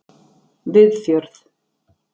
Viðfjörð